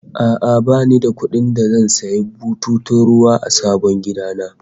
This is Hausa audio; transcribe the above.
A'a, bani da kuɗin da zan sanya bututun ruwa a sabon gida na